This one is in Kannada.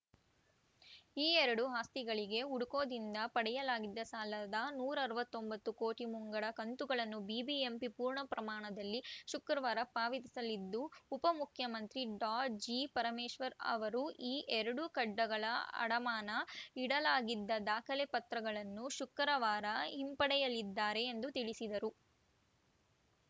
ಈ ಎರಡು ಆಸ್ತಿಗಳಿಗೆ ಹುಡ್ಕೋದಿಂದ ಪಡೆಯಲಾಗಿದ್ದ ಸಾಲದ ನೂರ ಅರವತ್ತ್ ಒಂಬತ್ತು ಕೋಟಿ ಮುಂಗಡ ಕಂತುಗಳನ್ನು ಬಿಬಿಎಂಪಿ ಪೂರ್ಣಪ್ರಮಾಣದಲ್ಲಿ ಶುಕ್ರವಾರ ಪಾವತಿಸಲಿದ್ದು ಉಪಮುಖ್ಯಮಂತ್ರಿ ಡಾಜಿಪರಮೇಶ್ವರ್‌ ಅವರು ಈ ಎರಡು ಕಡ್ಡಗಳ ಅಡಮಾನ ಇಡಲಾಗಿದ್ದ ದಾಖಲೆ ಪತ್ರಗಳನ್ನು ಶುಕ್ರವಾರ ಹಿಂಪಡೆಯಲಿದ್ದಾರೆ ಎಂದು ತಿಳಿಸಿದರು